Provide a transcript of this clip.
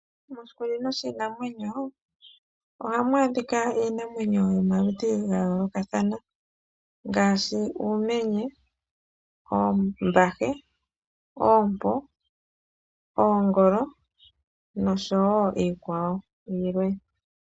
Moshikunino shiinamwenyo oha mu adhika iinamwenyo yomaludhi ga yoolokathana ngaashi uumenye, oombahe, oompo ,oongolo no sho wo iikwawo ilwe.